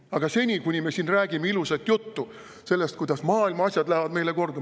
Aga seni, kuni me siin räägime ilusat juttu sellest, kuidas maailma asjad lähevad meile korda …